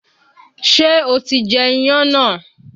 Ṣé o ti jẹ iyán náà?